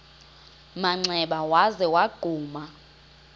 manxeba waza wagquma